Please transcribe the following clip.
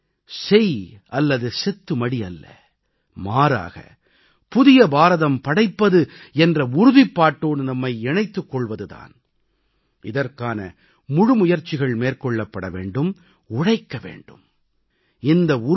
இன்றைய தேவை செய் அல்லது செத்து மடி அல்ல மாறாக புதிய பாரதம் படைப்பது என்ற உறுதிப்பாட்டோடு நம்மை இணைத்துக் கொள்வது தான் இதற்கான முழு முயற்சிகள் மேற்கொள்ள வேண்டும் உழைக்க வேண்டும்